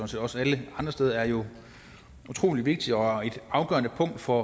set også alle andre steder er jo utrolig vigtigt og et afgørende punkt for